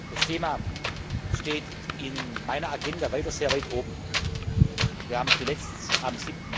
Das Thema steht in meiner Agenda weiter sehr weit oben. Wir haben zuletzt am